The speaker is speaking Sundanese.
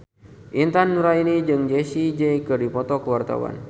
Intan Nuraini jeung Jessie J keur dipoto ku wartawan